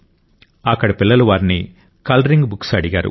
అక్కడి పిల్లలు వారిని కలరింగ్ బుక్స్ అడిగారు